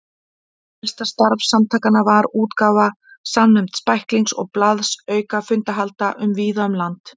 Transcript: Helsta starf samtakanna var útgáfa samnefnds bæklings og blaðs auka fundahalda víða um land.